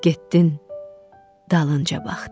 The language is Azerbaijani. Getdin, dalınca baxdım.